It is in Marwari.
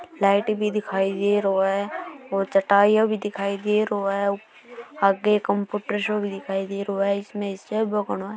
लाइट भी दिखाई देरो है और चटाई भी दिखाई दे रो है आगे एक कंप्यूटर सो दिखाई दे रो है इसमें --